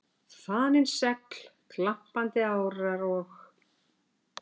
Þanin segl, glampandi árar, og